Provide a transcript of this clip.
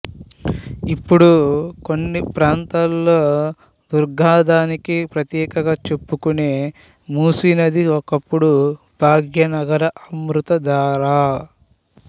ఇప్పుడు కొన్ని ప్రాంతాల్లో దుర్గంధానికి ప్రతీకగా చెప్పుకునే మూసీనది ఒకప్పుడు భాగ్యనగర అమృతధార